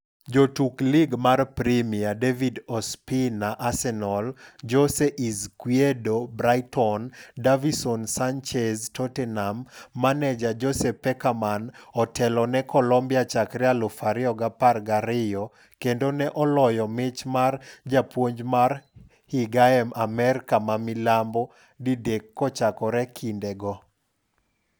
Jotuk Lig mar Premia: David Ospina (Arsenal), Jose Izquierdo (Brighton), Davinson Sanchez (Tottenham) Maneja: Jose Pekerman otelo ne Colombiachakre 2012 kendo ne oloyo mich mar japuonj mar higae Amerka ma milambo didek kochakore kinde go.